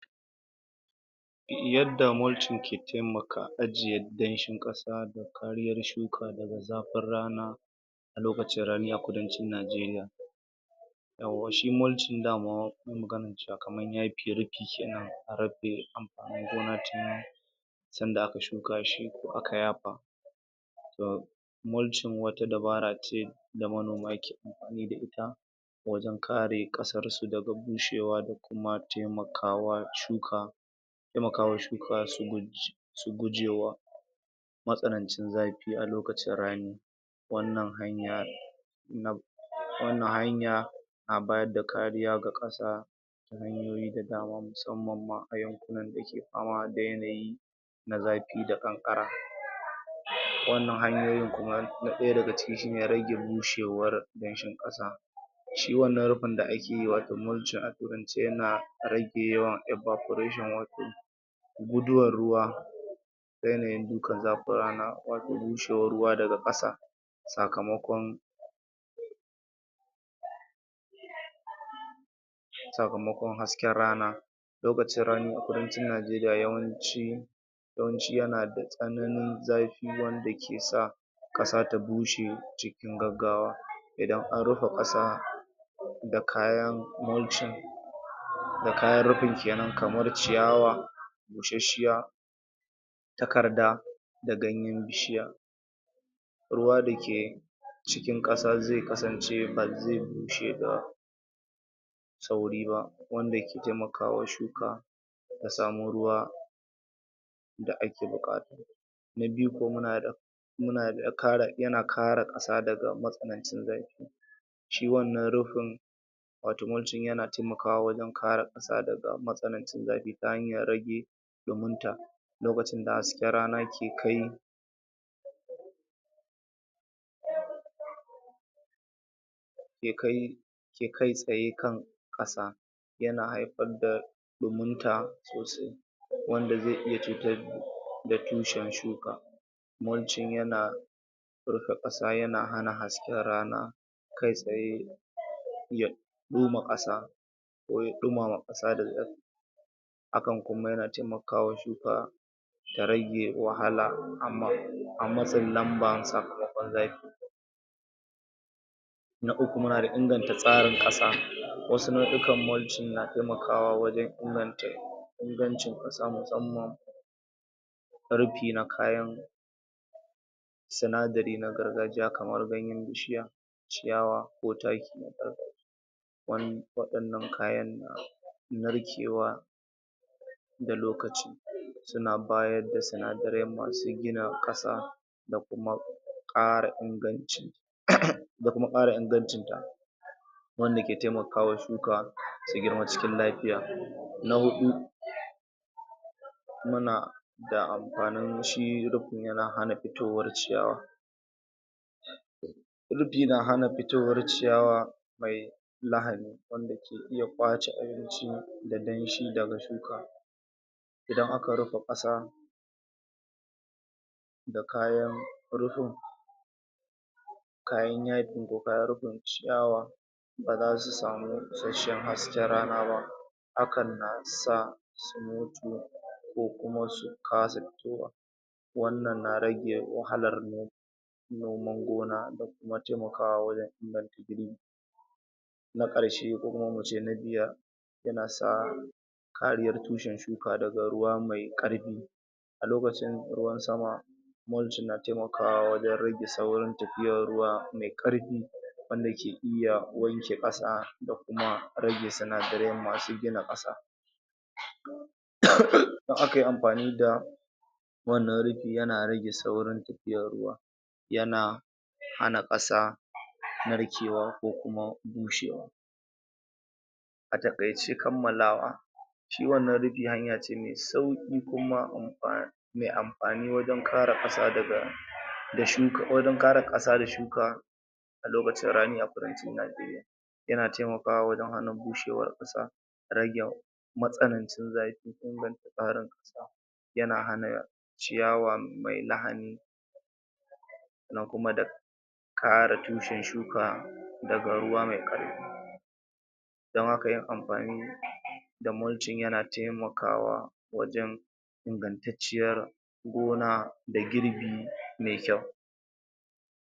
yadda mulching ke taimaka ajiye danshin ƙasa kariyar shuka daga zafin rana a lokacin rani a kudancin nigeria yauwa shi munching daman magana cewa kaman ya firi fice nan rabbe an gona tun tunda aka shuka shi ko aka yafa da mulching wata dabara ce da manoma ke da ita wajen kare ƙasar su daga bushewa da kuma taimakawa shuka taimakawa shuka su gujewa matsananci zafi a lokacin rani wannan hanyar na wannan hanya na bayar da kariya ga ƙasa ta hanyoyi da dama musammam ma a yau dake fama da yanayi na zafi da ƙanƙara wannan hanyoyin kuma na ɗaya daga cikin shine rage bushewar danshin ƙasa shi wannan rufin da ake wato mulching rage yawan evaporation guduwar ruwa da yanayin dukan zafin rana da bushewar ruwa daga ƙasa sakamakon sakamakon hasken rana lokacin rani a kudancin nigeria yawanci yana da tsananin zafi wanda ke sa ƙasa ta bushe cikin gaggawa idan an rufa ƙasa da kayan mulching da kayan rufe kenan kamar ciyawa busasshiya takarda da ganyen bishiya ruwa dake cikin ƙasa zai kasance bazai bushe ba da sauri ba wanda ke taimakawa shuka ya samo ruwa da ake buƙata na biyu ko muna da munada yana kare ƙasa daga matsanancin zafi shi wannan rufin wato mulching yana taimakawa wajen kare ta matsanancin zafi ta hanyar rage ɗumin ta lokacin da hasken rana yake kai bai kai ke kai tsaye kan ƙasa yana haifar da ɗumin ta sosai wanda zai iya cutar da da tushen shuka mulching yana rufe ƙasa yana hasken rana kai tsaye ya zo ma ƙasa ko ya ɗumama ƙasa da akan kuma yana taimakawa shuka da rage wahala amma a matsin lambar sa mai kokon zafi na uku muna da inganta tsarin ƙasa wasu nauyukan mulching na taimakawa wajen inganta ingancin ƙasa musammam rufi na kayan sinadarin na gargajiya kamar ganyen bishiya ciyawa ko taki wani wadannan kayan suna narkewa da lokaci suna bayar da sinadarai masu gina ƙasa da kuma kara inganci uhm domin kara ingancin ta wanda ke taimakawa shuka su girma cikin lafiya na huɗu muna da amfanin shi rufi yana hana fitowar ciyawa rufi na hana fitowar ciyawa mai lahani wanda ke iya kwace ainihin gadon shi daga shuka idan aka rufe ƙasa da kayan rufin kayan yaɗi ko kayan rufin ciyawa ba zasu samu isasshen hasken rana ba hakan na sa bushewa ko kuma su kasa fitowa wannan na rage wahalar noman gona da mataimaka a wajen na karshe ko kuma muce na biyar yana sa kariyar tushen shuka daga ruwa mai ƙarfi a lokacin ruwan sama mulching na taimakawa wajen rage saurin tafiyar ruwa mai ƙarfi wanda ke iya wanke ƙasa da kuma rage sinadaren masu gina ƙasa uhm idan akayi amfani da wannan rufin, yana rage saurin tafiyar ruwa yana hana ƙasa narkewa ko kuma bushewa a takaice kammalawa shi wannan rufi hanya ce mai sauki kuma amfanin mai amfanin wajen kare ƙasa daga da shuka wajen kare ƙasa da shuka a lokacin rani a kudancin nigeria yana taimakawa wajen hana bushewar tsa ragen matsanancin zafi dan tsarin ƙasa yana hana ciyawa mai lahani na kuma da kare tushen shuka daga ruwa mai karfi don haka yin amfani da mulching yana taimakawa wajen ingantacciyar gona da girbi mai kyau